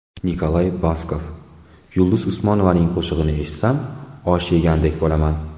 Nikolay Baskov: Yulduz Usmonovaning qo‘shig‘ini eshitsam osh yegandek bo‘laman.